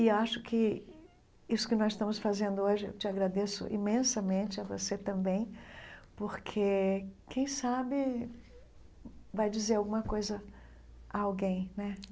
E acho que isso que nós estamos fazendo hoje, eu te agradeço imensamente, a você também, porque quem sabe vai dizer alguma coisa a alguém, né?